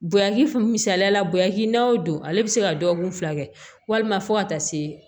Bonyakis misaliya la bonyakinna o don ale bɛ se ka dɔgɔkun fila kɛ walima fo ka taa se